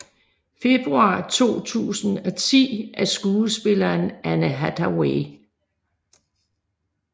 Februar 2010 af skuespilleren Anne Hathaway